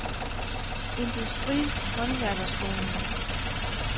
Industri & Håndværkerskolen